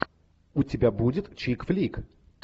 у тебя будет чик флик